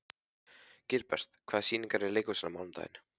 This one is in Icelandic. Gilbert, hvaða sýningar eru í leikhúsinu á mánudaginn?